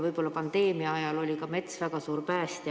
Võib-olla pandeemia ajal oli mets ka väga suur päästja.